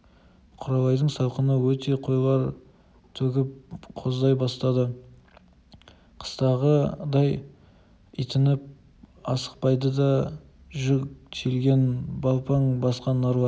құралайдың салқыны өте қойлар төгіп коздай бастады қыстағыдай итініп асықпайды да жүк тиелген балпаң басқан нарлар